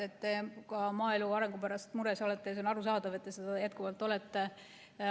See on väga tore, et te ka maaelu arengu pärast mures olete, ja on arusaadav, et te seda jätkuvalt olete.